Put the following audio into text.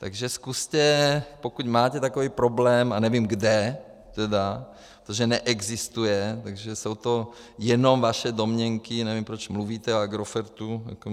Takže zkuste, pokud máte takový problém, a nevím kde, tedy, protože neexistuje, takže jsou to jenom vaše domněnky, nevím, proč mluvíte o Agrofertu.